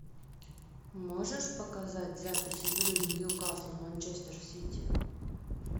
можешь показать запись игры ньюкасл манчестер сити